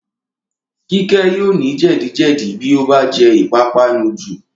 Kíkẹ́ yóò ní jẹ̀díjẹ̀dí bí ó bá jẹ ìpápánu jù